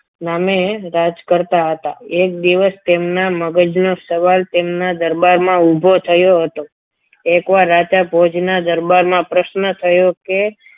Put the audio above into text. નામે રાજ કરતા હતા એક દિવસ તેમના મગજનો સવાલ તેમના દરબારમાં ઉભો થયો હતો એકવાર રાજા ભોજના દરબારમાં પ્રશ્ન થયો કે